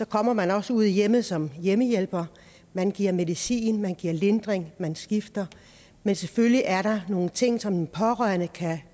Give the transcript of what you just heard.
kommer man også ud i hjemmet som hjemmehjælper man giver medicin man giver lindring man skifter men selvfølgelig er der nogle ting som de pårørende kan